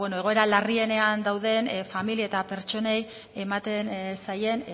egoera larrienean dauden familia eta pertsonei ematen zaien